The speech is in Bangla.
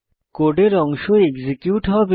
কোডের অংশ এক্সিকিউট হবে